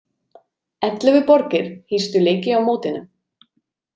Ellefu borgir hýstu leiki á mótinu.